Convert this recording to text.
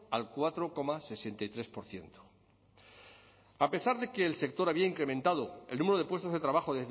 al cuatro coma sesenta y tres por ciento a pesar de que el sector había incrementado el número de puestos de trabajo